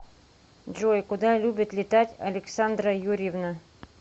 джой куда любит летать александра юрьевна